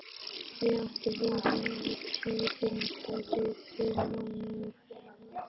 Ég átti von á tíðindalitlum mánuðum.